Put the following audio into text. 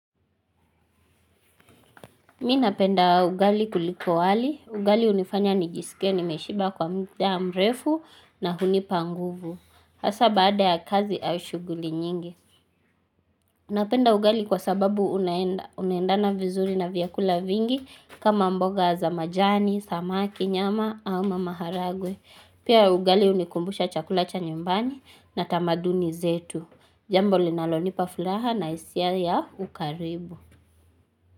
Mi napenda ugali kuliko wali. Ugali hunifanya nijiskie nimeshiba kwa muda mrefu na hunipa nguvu. Hasa baada ya kazi au shughuli nyingi. Napenda ugali kwa sababu unendana vizuri na vyakula vingi kama mboga za majani, samaki, nyama, ama maharagwe. Pia ugali hunikumbusha chakula cha nyumbani na tamaduni zetu. Jambo linalonipa furaha na hisia ya ukaribu.